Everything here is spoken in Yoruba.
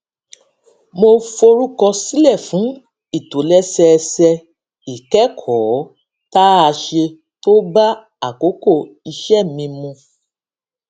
mo forúkọ sílè fún ìtòlésẹẹsẹ ìkékòó tá a ṣe tó bá àkókò iṣé mi mu